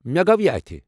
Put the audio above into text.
مےٚ گو یہِ اتھہٕ ۔